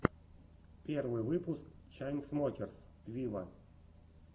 первый выпуск чайнсмокерс виво